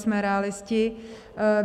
Jsme realisté.